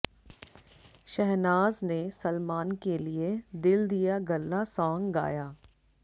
शहनाज ने सलमान के लिए दिल दिया गल्ला सांग गाया